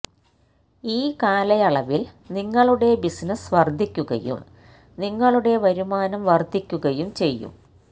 ഈ കാലയളവില് നിങ്ങളുടെ ബിസിനസ്സ് വര്ദ്ധിക്കുകയും നിങ്ങളുടെ വരുമാനം വര്ദ്ധിക്കുകയും ചെയ്യും